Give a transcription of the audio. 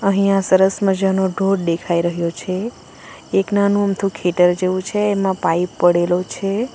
અહીંયા સરસ મજાનો ઢોધ દેખાઈ રહ્યો છે એક નાનું અમથું ખેટર જેવું છે એમાં પાઈપ પડેલો છે.